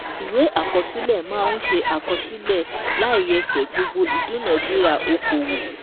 Ìwé àkọsílẹ̀ máa ń àkọsílẹ̀ láìyẹsẹ̀ gbogbo ìdúnadúrà okòwò